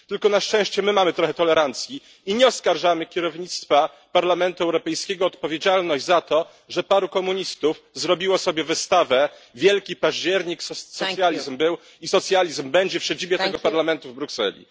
Tylko na szczęście my mamy trochę tolerancji i nie oskarżamy kierownictwa Parlamentu Europejskiego o odpowiedzialność za to, że paru komunistów zrobiło sobie wystawę Wielki Październik socjalizm był i socjalizm będzie w siedzibie tegoż Parlamentu w Brukseli.